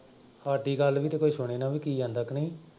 ਸਾਡੀ ਗੱਲ ਵੀ ਤਾਂ ਕੋਈ ਸੁਣੇ ਨਾ ਵੀ ਕੀ ਆਂਹਦਾ ਕੀ ਨਈਂ।